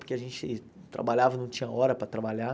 Porque a gente trabalhava, não tinha hora para trabalhar.